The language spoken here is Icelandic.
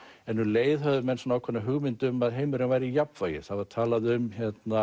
en um leið höfðu menn ákveðna hugmynd um að heimurinn væri í jafnvægi það var talað um